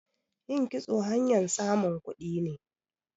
Yin kitso hanyan samun kudi ne.